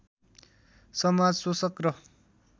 समाज शोषक र